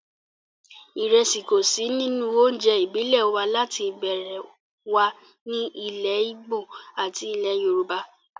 Ìrẹsì kò sí nínú oúnjẹ ìbílẹ̀ wa láti ìbẹ̀rẹ̀ wá ní ilẹ̀ ìgbò àti ilẹ̀ yorùbá